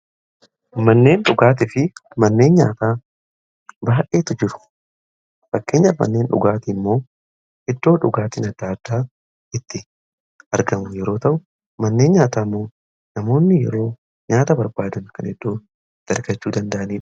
manneen dhugaatii fi manneen nyaataa baay'eetu jiru. fakkeenyaaf manneen dhugaatii immoo iddoo dhugaatiin adda addaa itti argamu yeroo ta'u manneen nyaataa imoo namoonni yeroo nyaata barbaadan kan eddoo itti argachuu danda'aniidha.